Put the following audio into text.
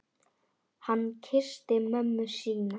Hann kyssti mömmu sína.